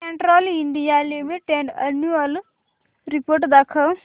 Castrol India limited annual report दाखव